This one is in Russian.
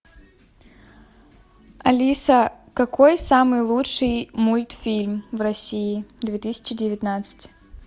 алиса какой самый лучший мультфильм в россии две тысячи девятнадцать